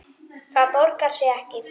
Það borgar sig ekki